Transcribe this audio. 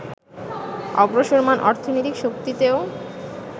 অগ্রসরমাণ অর্থনৈতিক শক্তিতেও